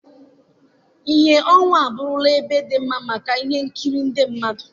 Ìhè ọnwa abụrụla ebe dị mma maka ihe nkiri ndị mmadụ